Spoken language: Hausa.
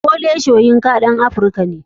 Wole soyinka ɗan africa ne.